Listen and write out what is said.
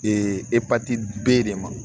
Ee e pati b'e de ma